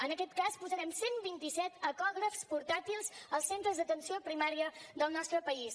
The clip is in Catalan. en aquest cas posarem cent i vint set ecògrafs portàtils als centres d’atenció primària del nostre país